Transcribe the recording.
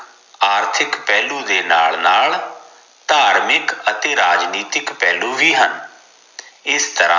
ਆਰਥਿਕ ਪਹਿਲੂ ਦੇ ਨਾਲ ਨਾਲ ਧਾਰਮਿਕ ਅਤੇ ਰਾਜਨੀਤਿਕ ਪਹਿਲੂ ਵੀ ਹਨ ਇਸ ਤਰਾਂ